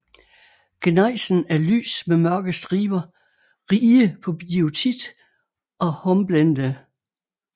Gnejsen er lys med mørke striber rige på biotit og hornblende